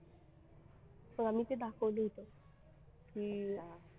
मग आम्ही ते दाखवलं होतं की अं